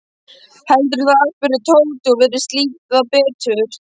Heldurðu það? spurði Tóti og virtist líða betur.